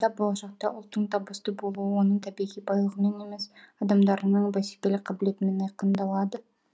болашақта ұлттың табысты болуы оның табиғи байлығымен емес адамдарының бәсекелік қабілетімен айқындалады